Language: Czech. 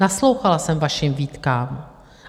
Naslouchala jsem vašim výtkám.